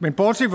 men bortset